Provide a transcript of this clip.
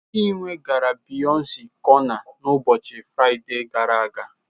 Chinwe gara Biyọnce cọna n'ụbọchị Fraịde gara aga.